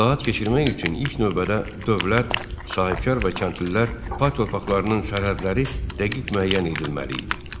İslahat keçirmək üçün ilk növbədə dövlət, sahibkar və kəndlilər pay torpaqlarının sərhədləri dəqiq müəyyən edilməli idi.